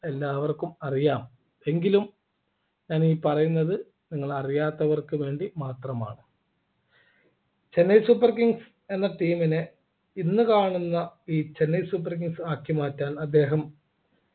എല്ലാവർക്കും അറിയാം എങ്കിലും ഞാൻ ഈ പറയുന്നത് നിങ്ങൾ അറിയാത്തവർക്ക് വേണ്ടി മാത്രമാണ് ചെന്നൈ super kings എന്ന team നെ ഇന്ന് കാണുന്ന ഈ ചെന്നൈ super kings ആക്കി മാറ്റാൻ അദ്ദേഹം